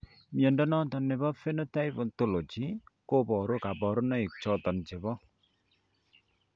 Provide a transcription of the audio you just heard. Mnyondo noton nebo Phenotype Ontology koboru kabarunaik choton chebo